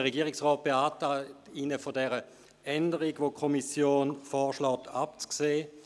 Der Regierungsrat beantragt Ihnen, von der von der Kommission vorgeschlagenen Änderung abzusehen.